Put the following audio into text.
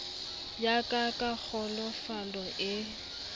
ya ka ka kglofalo e